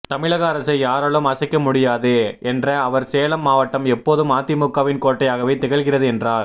தமிழக அரசை யாராலும் அசைக்க முடியாது என்ற அவர் சேலம் மாவட்டம் எப்போதும் அதிமுகவின் கோட்டையாகவே திகழ்கிறது என்றார்